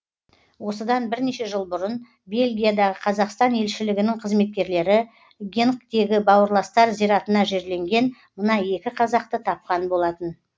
осыдан бірнеше жыл бұрын бельгиядағы қазақстан елшілігінің қызметкерлері генктегі бауырластар зиратына жерленген мына екі қазақты тапқан болатын